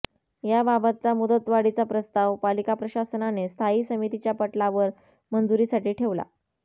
याबाबतचा मुदतवाढीचा प्रस्ताव पालिका प्रशासनाने स्थायी समितीच्या पटलावर मंजुरीसाठी ठेवला